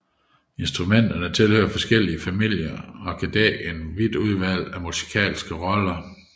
Instrumenterne tilhører forskellige familier og kan dække et vidt udvalg af musikalske roller